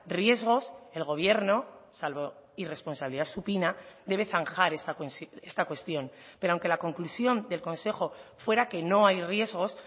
riesgos el gobierno salvo irresponsabilidad supina debe zanjar esta cuestión pero aunque la conclusión del consejo fuera que no hay riesgos